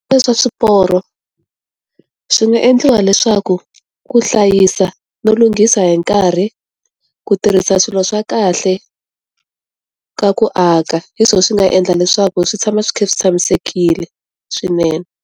Swa swiporo. Swi nga endliwa leswaku, ku hlayisa no lunghisa hi nkarhi, ku tirhisa swilo swa kahle, ka ku aka. Hi swona swi nga endla leswaku swi tshama swi kha swi tshamisekile, swinene.